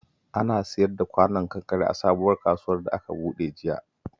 Ana siyar da kwanon kankare a sabuwar kasuwar da aka buɗe jiya